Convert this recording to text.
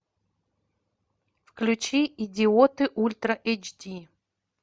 включи идиоты ультра эйч ди